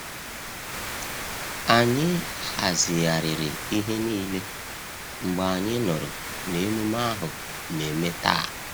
Anyị hazigharịri ihe niile mgbe anyị nụrụ na emume ahu na-eme taa.